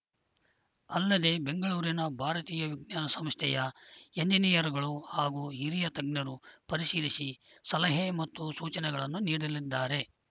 ಅಲ್ಲದೆ ಬೆಂಗಳೂರಿನ ಭಾರತೀಯ ವಿಜ್ಞಾನ ಸಂಸ್ಥೆಯ ಏಣಿನಿಯರ್ಗಳು ಹಾಗೂ ಹಿರಿಯ ತಜ್ಞರು ಪರಿಶೀಲಿಸಿ ಸಲಹೆ ಮತ್ತು ಸೂಚನೆಗಳನ್ನು ನೀಡಲಿದ್ದಾರೆ